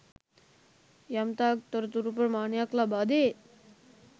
යම්තාක් තොරතුරු ප්‍රමාණයක් ලබාදේ.